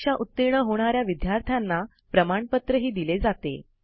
परीक्षा उतीर्ण होणा या विद्यार्थ्यांना प्रमाणपत्रही दिले जाते